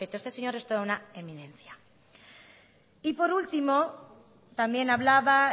feto este señor es toda una eminencia y por último también hablaba